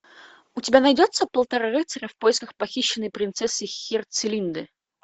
у тебя найдется полтора рыцаря в поисках похищенной принцессы херцелинды